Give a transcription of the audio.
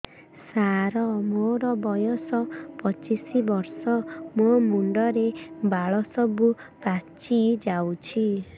ସାର ମୋର ବୟସ ପଚିଶି ବର୍ଷ ମୋ ମୁଣ୍ଡରେ ବାଳ ସବୁ ପାଚି ଯାଉଛି